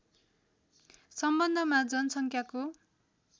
सम्बन्धमा जनसङ्ख्याको